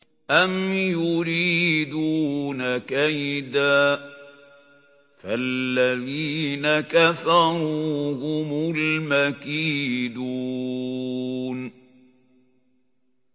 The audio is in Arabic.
أَمْ يُرِيدُونَ كَيْدًا ۖ فَالَّذِينَ كَفَرُوا هُمُ الْمَكِيدُونَ